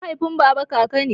Mahaifin baba kaka ne.